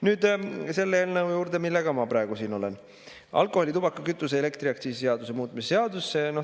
Nüüd selle eelnõu juurde, millega ma praegu siin olen, alkoholi‑, tubaka‑, kütuse‑ ja elektriaktsiisi seaduse muutmise seadus.